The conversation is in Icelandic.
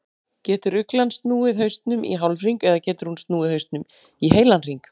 Getur uglan snúið hausnum í hálfhring eða getur hún snúið hausnum í heilan hring?